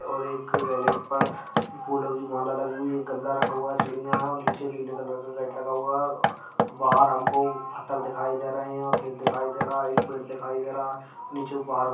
और एक रेलिंग पर फूलों की माला लगी हुई है। एक गमला रखा हुआ है सिडिया है नीचे नीले कलर का गेट लगा हुआ है बाहर हम को पत्थर दिखाई दे रहे है खेत दिखाई दे रहा है एक पेड़ दिखाई दे रहा है नीचे बहार --